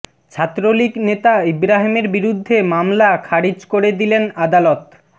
ছাত্রলীগ নেতা ইব্রাহিমের বিরুদ্ধে মামলা খারিজ করে দিলেন আদালত